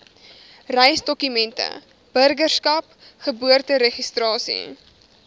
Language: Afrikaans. reisdokumente burgerskap geboorteregistrasie